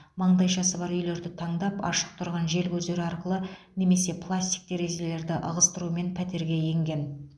маңдайшасы бар үйлерді таңдап ашық тұрған желкөздер арқылы немесе пластик терезелерді ығыстырумен пәтерге енген